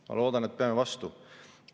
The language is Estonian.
Ma loodan, et peame vastu.